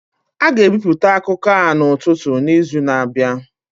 A ga-ebipụta akụkọ a n'ụtụtụ n'izu na-abịa.